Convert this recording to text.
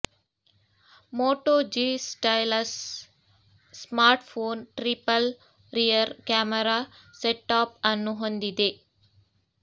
Moto G stylus smartphone triple rear camera setup ಅನ್ನು ಹೊಂದಿದೆ